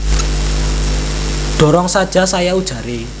Dorong saja saya ujaré